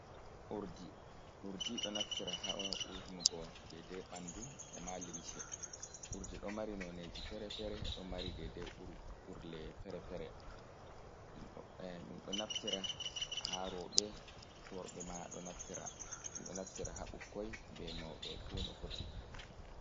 Urdi, urdi ɗo naftira ha urnugo dedei ɓandu e ma limce. Urdi ɗo mari noneji fere-fere, ɗo mari dedei urle fere-fere. Ɗum ɗo do naftire ha rowɓe. Worɓe ma ɗo naftro ɗum, ɗo naftira ha bukkoi be mauɓe fu no foti.